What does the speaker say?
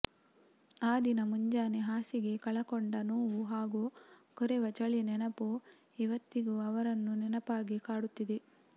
ಆ ದಿನ ಮುಂಜಾನೆ ಹಾಸಿಗೆ ಕಳಕೊಂಡ ನೋವು ಹಾಗೂ ಕೊರೆವ ಚಳಿ ನೆನಪು ಇವತ್ತಿಗೂ ಅವರನ್ನು ನೆನಪಾಗಿ ಕಾಡುತ್ತಿದೆ